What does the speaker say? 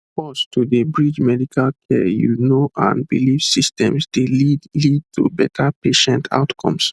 pause to dey bridge medical care you know and belief systems dey lead lead to better patient outcomes